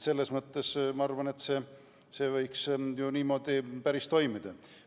Selles mõttes ma arvan, et see võiks ju niimoodi päris hästi toimida.